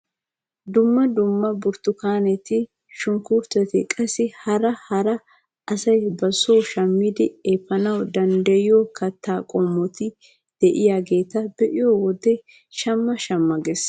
Dumma dumma burttukaaneti shunkurutetti qassi hara hara asay ba soo shammidi epaana danddayiyoo kattaa qomoti de'iyaageta be'iyoo wode shamma shamma ges.